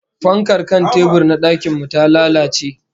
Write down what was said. Fankar kan tebur na dakin mu ta lalace